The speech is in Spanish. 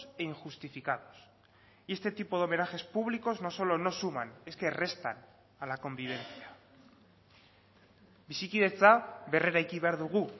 e injustificados y este tipo de homenajes públicos no solo no suman es que restan a la convivencia bizikidetza berreraiki behar dugu